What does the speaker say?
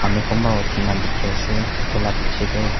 aru kunba uthi na dikhi ase etu lah piche teh.